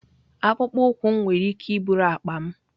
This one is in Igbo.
Akpụkpọ ụkwụ m nwere ike iburu akpa m.